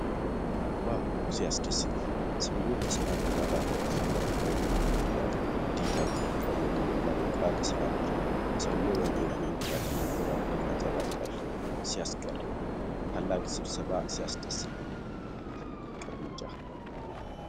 ዋው! ሲያስደስት! ሰውዬው በሰማያዊ ዳራ ፊት ለፊት ቆሞ ይናገራል። "ዲጂታል ኢትዮጵያ" የሚለው መሪ ቃል ሲያምር! ሰውዬው በንግግሩ ኩራትና ቆራጥነት ያንጸባርቃል። ሲያስገርም! ታላቅ ስብሰባ! ሲያስደስት! ትልቅ እርምጃ!